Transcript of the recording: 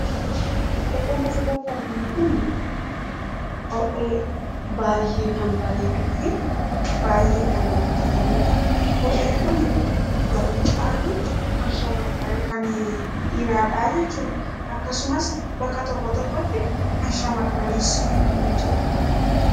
Kopheen asirratti arginu Kunii, kophee baayyee kan bareeduu fi baayyee kan namatti toludha. Kopheen Kun garri caaluun kan dhiiraadha jechuudha. Akkasumas bakka tokko tokkotti kan shamarraniis ni jira.